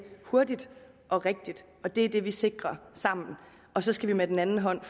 hurtigt og rigtigt og det er det vi sikrer sammen og så skal vi med den anden hånd